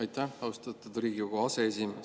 Aitäh, austatud Riigikogu aseesimees!